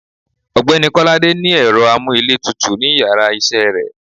ọgbẹni kolade ni ero amú íle tútú ni íyarà iṣẹ re